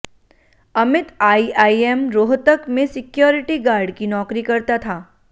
Amit IIM Rohtak में security guard की नौकरी करता था